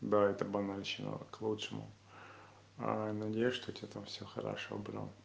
да это банальщина к лучшему надеюсь что у тебя там все хорошо бро